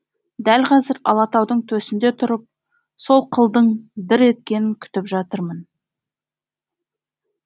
дәл қазір алатаудың төсінде тұрып сол қылдың дір еткенін күтіп жатырмын